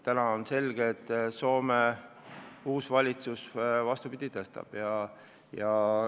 Nüüd on selge, et Soome uus valitsus, vastupidi, tõstab seda.